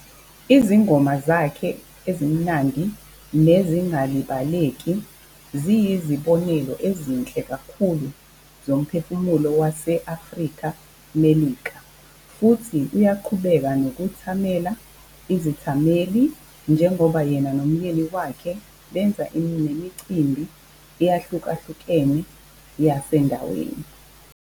Izingoma zakhe ezimnandi nezingalibaleki ziyizibonelo ezinhle kakhulu zomphefumlo wase-Afrika-Melika, futhi uyaqhubeka nokuthamela izithameli njengoba yena nomyeni wakhe benza emicimbini eyahlukahlukene yasendaweni.